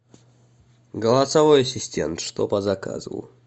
голосовой ассистент что по заказу